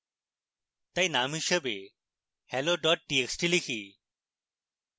txt name হিসাবে hello txt type